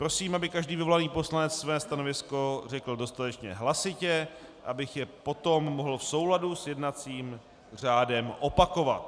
Prosím, aby každý vyvolaný poslanec své stanovisko řekl dostatečně hlasitě, abych je potom mohl v souladu s jednacím řádem opakovat.